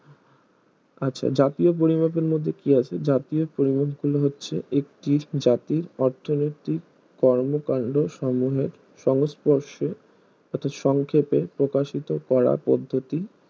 আচ্ছা জাতীয় পরিমাপের মধ্যে কি আছে জাতীয় পরিমাপ গুলো হচ্ছে একটি জাতির অর্থনৈতিক কর্মকান্ড সমুহবে সংস্পর্শে এতো সংক্ষেপে এতো প্রকাশিত করা পদ্ধতি